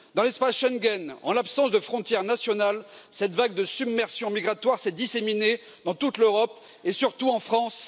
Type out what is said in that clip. Dans l'espace Schengen, en l'absence de frontières nationales, cette vague de submersion migratoire s'est disséminée dans toute l'Europe et surtout en France.